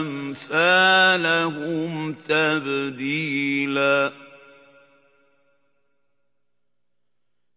أَمْثَالَهُمْ تَبْدِيلًا